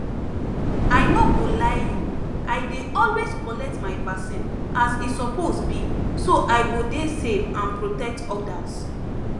i no go lie you i dey always collect my vaccine as e suppose be so i go dey safe and protect others